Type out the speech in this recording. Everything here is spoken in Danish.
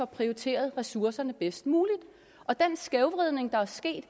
prioriteret ressourcerne bedst muligt og den skævvridning der er sket